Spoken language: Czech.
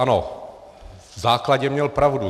Ano, v základě měl pravdu.